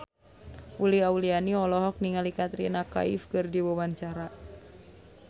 Uli Auliani olohok ningali Katrina Kaif keur diwawancara